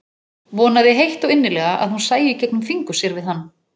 Vonaði heitt og innilega að hún sæi í gegnum fingur sér við hann.